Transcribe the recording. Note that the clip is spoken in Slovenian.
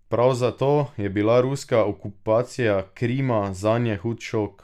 Prav zato je bila ruska okupacija Krima zanje hud šok.